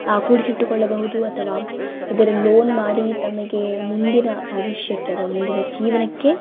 ಆಹ್ಹ್ ಕುಡಿಸಿಟ್ಟಕೊಳ್ಳಬಹುದು ಅಥವಾ ಇದರ ಲೋನ್ ಮಾಡಿ ತಮಗೆ ಮುಂದಿನ ಭವಿಷ್ಯಕ್ಕೆ ಅಥವಾ ಮುಂದಿನ ಜೀವನಕ್ಕೆ --